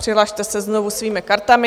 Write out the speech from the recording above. Přihlaste se znovu svými kartami.